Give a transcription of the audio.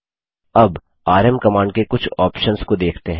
अब rm command के कुछ ऑप्शंस को देखते हैं